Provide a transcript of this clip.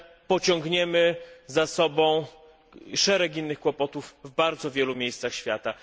pociągniemy za sobą szereg innych kłopotów w bardzo wielu miejscach świata.